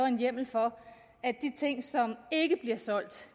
en hjemmel for at de ting som ikke bliver solgt